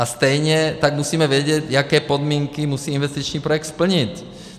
A stejně tak musíme vědět, jaké podmínky musí investiční projekt splnit.